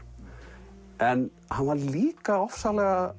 en hann var líka ofsalega